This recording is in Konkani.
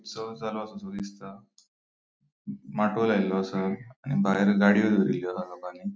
लायलो असा आणि भायर गाड़ियों दोरिल्ल्यो हा दोगनी.